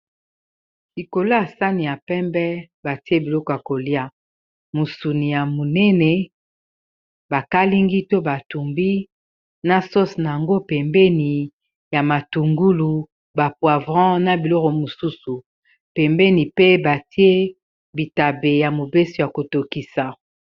Likolo ya sani ya pembe batie biloko ya kolia mosuni ya monene bakalingi to batumbi na sose na yango pembeni ya matungulu bapoavrant na biloko mosusu pembeni pe batie bitabe ya mobeso ya kotokisa.